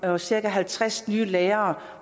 år cirka halvtreds nye lærere